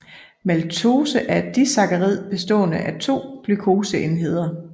Maltose er et disakkarid bestående af 2 glukoseenheder